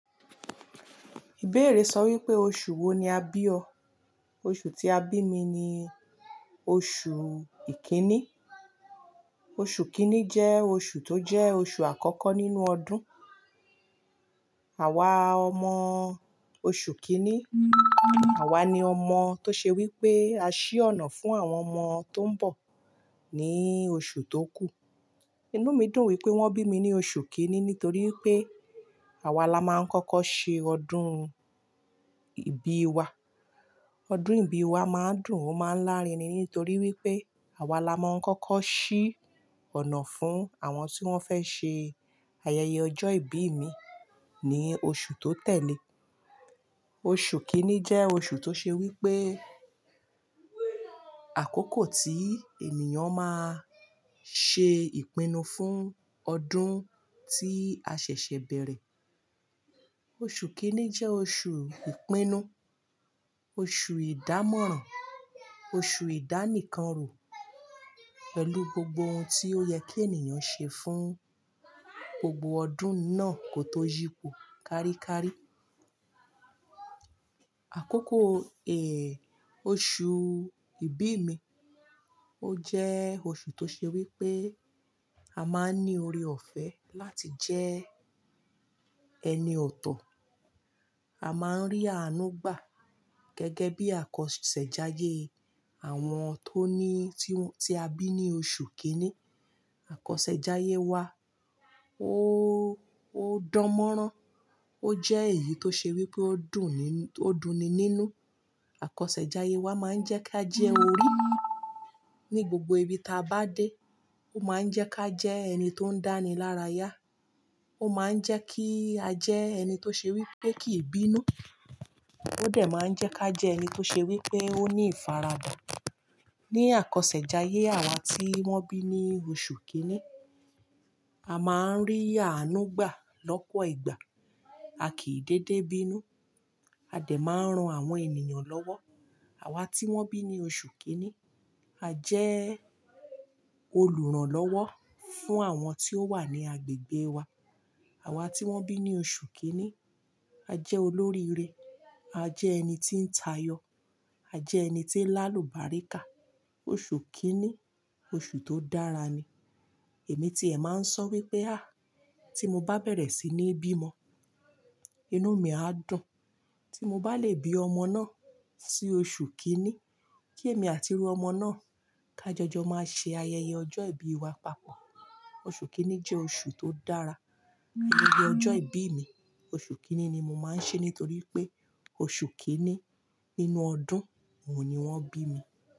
Ìbéèrè sọ wípé oṣù wo ni a bí ọ? Oṣù tí a bí mi ni oṣù kìíní. Oṣù kìíní jẹ́ oṣù tó jẹ́ oṣù àkọ́kọ́ nínú ọdún. Àwa ọmọ oṣù kìíní, àwa ni ọmọ tó ṣe wípé a ṣí ọ̀nà fún àwọn ọmọ tó ń bọ̀ ní oṣù tó kù. Inú mi dùn wípé wọ́n bí mi ní oṣù kìíní nítorí wípé àwa la máa ń kọ́kọ́ ṣe ọdún ìbí wa. Ọdún ìbí wa máa ń dùn, ó máa ń lárinrin nítorí wípé àwa la máa ń kọ́kọ́ ṣí ọ̀nà fún àwọn tí wón fẹ́ ṣe ayẹyẹ ọjọ́ ìbí míì ní oṣù tó tẹ̀le. Oṣù kìíní jẹ́ oṣù tó ṣe wípé àkókò tí ènìyàn máa ṣe ìpinnu fún ọdún tí a ṣẹ̀ṣẹ̀ bẹ̀rẹ̀. Oṣù kìíní jẹ́ oṣù ìpinnu, oṣù ìdámọ̀ràn, oṣù ìdánìkanrò pẹ̀lú gbogbo ohun tí ó yẹ kí ènìyàn ṣe fún gbogbo ọdún náà kó tó yípo káríkárí. Àkókò oṣù ìbí mi ó jẹ́ oṣù tó ṣe wípé a máa ń ní oore-ọ̀fẹ́ láti jẹ́ ẹni ọ̀tọ̀. A máa ń rí àánú gbà gẹ́gẹ́ bí àkọsẹ̀jayé àwọn tó ní, tí ó-- tí a bí ní oṣù kìíní. Àkọsẹ̀jayé wa ó, ó dán mọ́rán. Ó jẹ́ èyí tó ṣe wípé ó dùn ni, ó dunni nínú. Àkọsẹ̀jayé wa máa ń jẹ́ ká jẹ́ orí ní gbogbo ibi táa bá dé. Ó máa ń jẹ́ ká jẹ ẹni tó ń dáni lára yá. Ó máa ń jẹ́ kí a jẹ́ ẹni tó ṣe wípé kì í bínú. Ó dẹ̀ máa ń jẹ́ ká jẹ ẹni tó ṣe wípé ó ní ìfaradà. Ní àkọsẹ̀jayé àwa tí wọ́n bí ní oṣù kìíní, a máa ń rí àánú gbà lọ́pọ̀ ìgbà. A kìí dédé bínú. A dẹ̀ máa ń ran àwọn ènìyàn lọ́wọ́. Àwa tí wón bí ní oṣù kìíní, a jẹ́ olùrànlọ́wọ́ fún àwọn tí ó wà ní agbègbè wa. Àwa tí wón bí ní oṣù kìíní, a jẹ́ olóríire. A jẹ́ ẹni tí ń tayọ. A jẹ́ ẹni tí ń l'álùbáríkà. Oṣù kìíní, oṣù tó dára ni. Èmi tiẹ̀ máa ń sọ ọ́ wípé "áà, tí mo bá bẹ̀rẹ̀ sí ní bímọ, inú mi á dùn. Tí mo bá lè bí ọmọ náà sí oṣù kìíní, kí èmi àti irú ọmọ náà ká jọjọ máa ṣe ayẹyẹ ọjọ́ ìbí wa papọ̀". Oṣù kìíní jẹ́ oṣù tó dára. Ayẹyẹ ọjọ́ ìbí mi, oṣù kìíní ni mo máa ń ṣeé nítorí pé oṣù kìíní nínú ọdún òun ni wọ́n bí mi.